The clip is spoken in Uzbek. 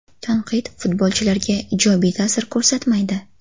Tanqid futbolchilarga ijobiy ta’sir ko‘rsatmaydi.